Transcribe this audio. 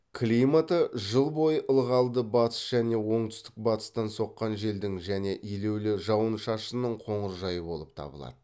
климаты жыл бойы ылғалды батыс және оңтүстік батыстан соққан желдің және елеулі жауын шашынның қоңыржай болып табылады